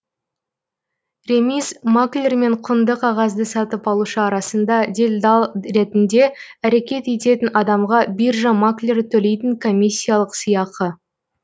ремиз маклер мен құнды қағазды сатып алушы арасында делдал ретінде әрекет ететін адамға биржа маклері төлейтін комиссиялық сыйақы